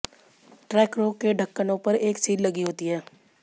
ट्रैकरों के ढक्कनों पर एक सील लगी होती है